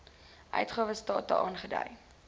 uitgawe state aangedui